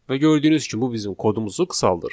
Və gördüyünüz kimi bu bizim kodumuzu qısaldır.